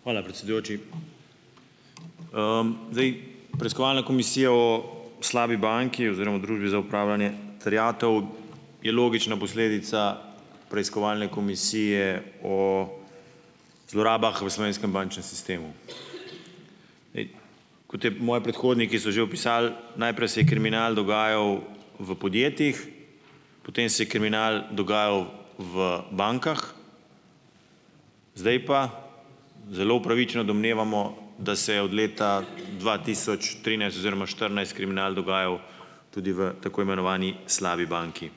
Hvala, predsedujoči. Zdaj preiskovalna komisija o slabi banki oziroma Družbi za upravljanje terjatev je logična posledica preiskovalne komisije o zlorabah v slovenskem bančnem sistemu. Kot je, moji predhodniki so že opisali, najprej se je kriminal dogajal v podjetjih, potem se je kriminal dogajal v bankah, zdaj pa zelo upravičeno domnevamo, da se je od leta dva tisoč trinajst oziroma štirinajst kriminal dogajal tudi v tako imenovani slabi banki.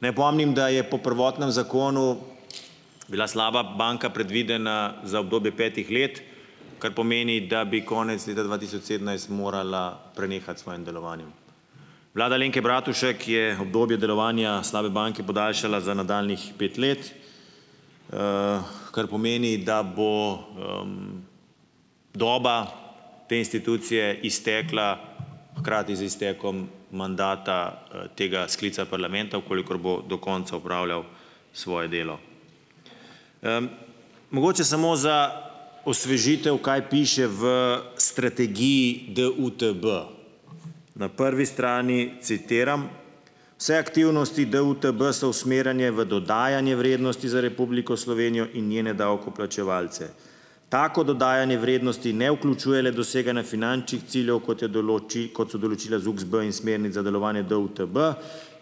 Naj opomnim, da je po prvotnem zakonu bila slaba banka predvidena za obdobje petih let, kar pomeni, da bi konec leta dva tisoč sedemnajst morala prenehati s svojim delovanjem. Vlada Alenke Bratušek je obdobje delovanja slabe banke podaljšala za nadaljnjih pet let, kar pomeni, da bo, doba te institucije iztekla hkrati z iztekom mandata, tega sklica parlamenta, v kolikor bo do konca opravljal svoje delo. Mogoče samo za osvežitev, kaj piše v strategiji DUTB. Na prvi strani, citiram: "Vse aktivnosti DUTB so usmerjene v dodajanje vrednosti za Republiko Slovenijo in njene davkoplačevalce. Tako dodajanje vrednosti ne vključuje le doseganja finančnih ciljev, kot je kot so določila ZUKSB, in smernic za delovanje DUTB,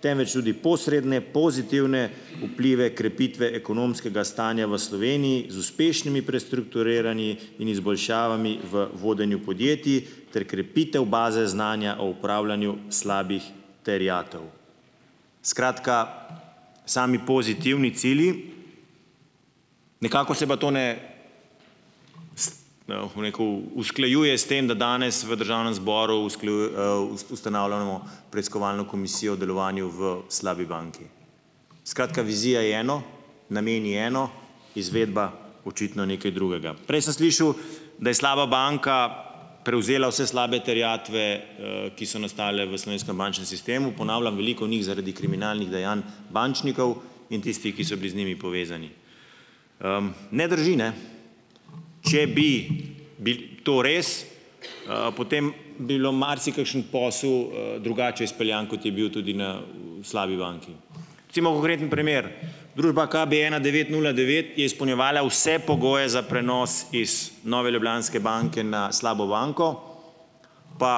temveč tudi posredne pozitivne vplive krepitve ekonomskega stanja v Sloveniji z uspešnimi prestrukturiranji in izboljšavami v vodenju podjetij ter krepitev baze znanja o upravljanju slabih terjatev." Skratka, sami pozitivni cilji. Nekako se pa to, ne, bom rekel, usklajuje s tem, da danes v državnem zboru ustanavljamo preiskovalno komisijo o delovanju v slabi banki. Skratka, vizija je eno, namen je eno, izvedba očitno nekaj drugega. Prej sem slišal, da je slaba banka prevzela vse slabe terjatve, ki so nastale v slovenskem bančnem sistemu. Ponavljam, veliko njih zaradi kriminalnih dejanj bančnikov in tistih, ki so bili z njimi povezani. Ne drži, ne, če bi bi to res, potem bi bilo marsikakšen posel drugače izpeljan, kot je bil tudi na v slabi banki. Recimo, konkreten primer, družba KB ena devet nula devet je izpolnjevala vse pogoje za prenos iz Nove Ljubljanske banke na slabo banko, pa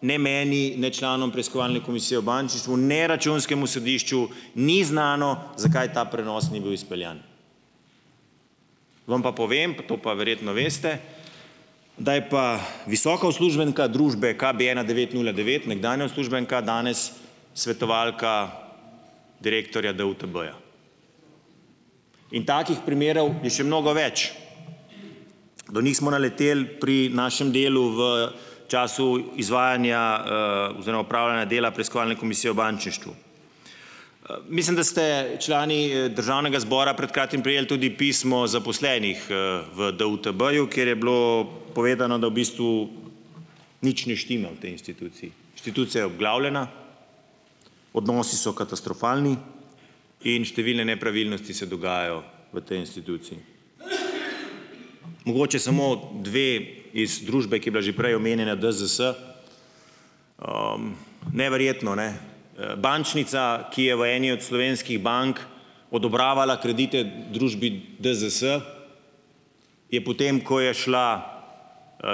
ne meni, ne članom preiskovalne komisije v bančništvu, ne računskemu sodišču ni znano zakaj ta prenos ni bil izpeljan. Vam pa povem, to pa verjetno veste, da je pa visoka uslužbenka družbe KB ena devet nula devet, nekdanja uslužbenka, danes svetovalka direktorja DUTB-ja. In takih primerov je še mnogo več. Do njih smo naleteli pri našem delu v času izvajanja, oziroma opravljanja dela preiskovalne komisije v bančništvu. Mislim, da ste člani državnega zbora pred kratkim prejeli tudi pismo zaposlenih, v DUTB-ju, kjer je bilo povedano, da v bistvu nič ne štima v tej instituciji. Inštitucija je obglavljena, odnosi so katastrofalni in številne nepravilnosti se dogajajo v tej instituciji. Mogoče samo dve iz družbe, ki je bila že prej omenjena, DZS, neverjetno, ne, bančnica, ki je v eni od slovenskih bank odobravala kredite družbi DZS, je potem, ko je šla,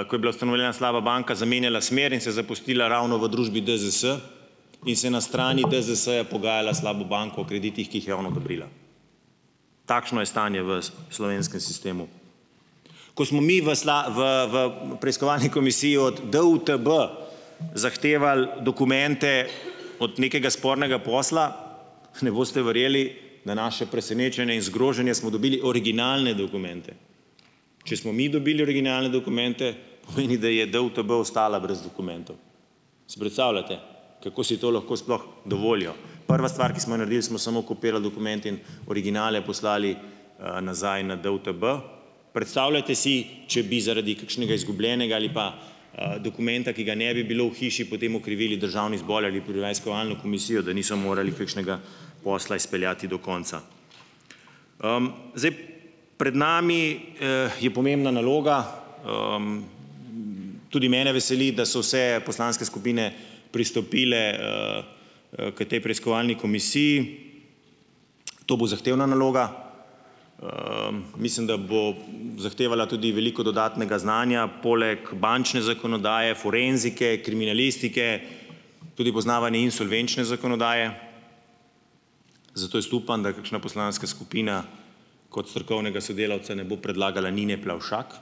ko je bila ustanovljena slaba banka, zamenjala smer in se zaposlila ravno v družbi DZS, in se na strani DZS-ja pogajala s slabo banko o kreditih, ki jih je ona odobrila. Takšno je stanje v slovenskem sistemu. Ko smo mi v v v preiskovalni komisiji od DUTB zahtevali dokumente od nekega spornega posla, ne boste verjeli, na naše presenečenje in zgroženje smo dobili originalne dokumente. Če smo mi dobili originalne dokumente, pomeni, da je DUTB ostala brez dokumentov. Si predstavljate, kako si to lahko sploh dovolijo. Prva stvar, ki smo jo naredili, smo samo kopirali dokumente in originale poslali, nazaj na DUTB. Predstavljajte si, če bi zaradi kakšnega izgubljenega ali pa, dokumenta, ki ga ne bi bilo v hiši, potem okrivili državni zbor ali preiskovalno komisijo, da niso morali kakšnega posla izpeljati do konca. Zdaj pred nami, je pomembna naloga. Tudi mene veseli, da so se poslanske skupine pristopile, k tej preiskovalni komisiji. To bo zahtevna naloga. Mislim, da bo, zahtevala tudi veliko dodatnega znanja poleg bančne zakonodaje, forenzike, kriminalistike, tudi poznavanje insolvenčne zakonodaje, zato jaz upam, da kakšna poslanska skupina kot strokovnega sodelavca ne bo predlagala Nine Plavšak.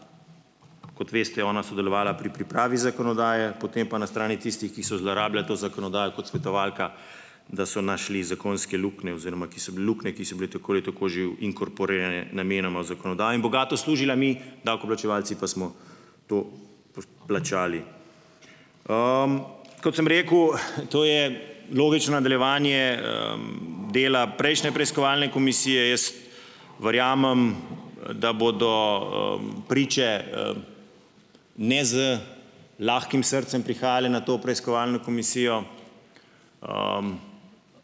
Kot veste, je ona sodelovala pri pripravi zakonodaje, potem pa na strani tistih, ki so zlorabljali to zakonodajo kot svetovalka, da so našli zakonske luknje, oziroma ki so luknje, ki so bile tako ali tako že inkorporirane namenoma v zakonodaji in bogato služila, mi davkoplačevalci pa smo to plačali. Kot sem rekel, to je logično nadaljevanje, dela prejšnje preiskovalne komisije. Jaz verjamem, da bodo, priče, ne z lahkim srcem prihajale na to preiskovalno komisijo.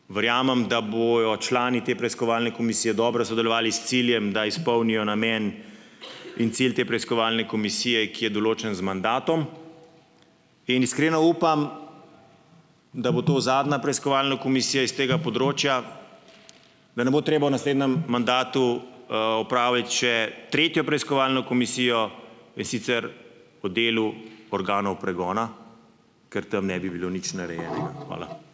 Verjamem, da bojo člani te preiskovalne komisije dobro sodelovali s ciljem, da izpolnijo namen, in cilj te preiskovalne komisije, ki je določen z mandatom. In iskreno upam, da bo to zadnja preiskovalna komisija iz tega področja, da ne bo treba v naslednjem mandatu, opraviti še tretjo preiskovalno komisijo, in sicer o delu organov pregona, ker tam ne bi bilo nič narejenega. Hvala.